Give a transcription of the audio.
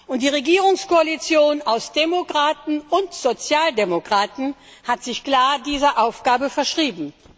Und die Regierungskoalition aus Demokraten und Sozialdemokraten hat sich klar dieser Aufgabe verschrieben.